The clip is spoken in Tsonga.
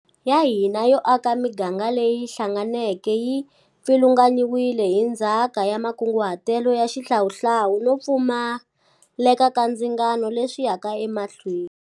Ya hina yo aka miganga leyi hlanganeke yi pfilunganyiwile hi ndzhaka ya makunguhatelo ya xihlawuhlawu no pfumaleka ka ndzingano leswi yaka emahlweni.